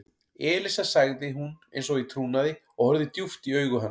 Elísa sagði hún eins og í trúnaði og horfði djúpt í augu hans.